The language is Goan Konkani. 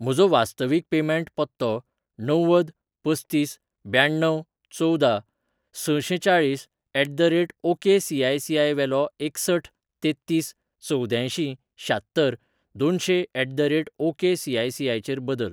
म्हजो वास्तवीक पेमेंट पत्तो णव्वद पस्तीस ब्याण्णव चवदा सशेंचाळीस at the rate okay ICICI वेलो एकसठ तेत्तीस चवद्यांयशीं शात्तर दोनशें at the rate okay ICICI चेर बदल.